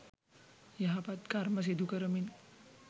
යහපත් කර්ම සිදුකරමින්